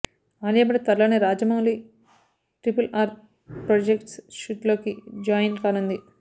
ఆలియా భట్ త్వరలోనే Rajamouli triple R project షూట్లోకి join కానుంది